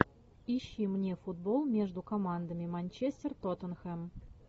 ищи мне футбол между командами манчестер тоттенхэм